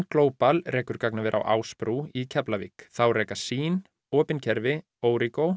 Global rekur gagnaver á Ásbrú í Keflavík þá reka sýn opin kerfi